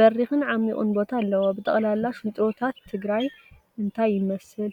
በሪኽን ዓሚቅን ቦታ አለዎ፡፡ ብጠቅላላ ሽንጥሮታት ትግራይ እንታይ ይመስል?